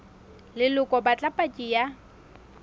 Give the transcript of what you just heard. leloko ba batla paki ya